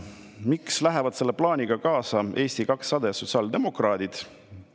Miks lähevad selle plaaniga kaasa Eesti 200 ja sotsiaaldemokraadid?